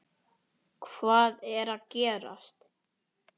HVAÐ ER AÐ GERAST?